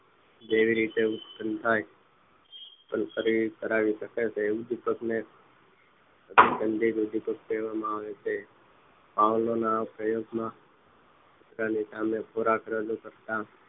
કેવી રીતે ઉત્પન થાય ઉત્પન કરવી તે ઉદીપક ને અનુસંધિત ઉદીપક કહેવામાં આવે છે પાઉલો ના પ્રયોગો માં તેની સામે ખોરાક રજુ કરતા